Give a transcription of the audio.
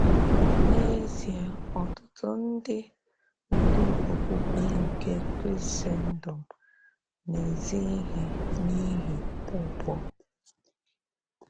N’eziè, òtùtù ndị ndú òkpùkpè nke Krisèndọm “na-ezì íhè n’íhì ụ́gwọ́.”